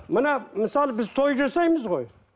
мына мысалы біз той жасаймыз ғой